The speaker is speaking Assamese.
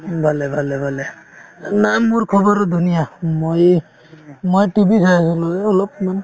উম, ভালে ভালে ভালে নাই মোৰ খবৰো ধুনীয়া উম মই এহ্ মই TV চাই আছিলো এই অলপমান